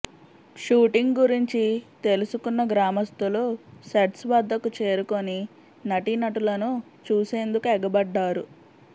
shooting గురించి తెలుసుకున్న గ్రామస్తులు సెట్స్ వద్దకు చేరుకుని నటీనటులను చూసేందుకు ఎగబడ్డారు